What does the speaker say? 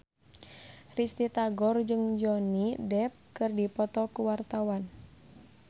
Risty Tagor jeung Johnny Depp keur dipoto ku wartawan